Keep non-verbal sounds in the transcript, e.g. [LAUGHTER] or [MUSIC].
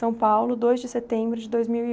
[UNINTELLIGIBLE] dois de setembro de dois mil e...